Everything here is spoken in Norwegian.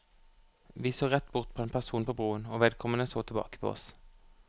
Vi så rett bort på en person på broen, og vedkommende så tilbake på oss.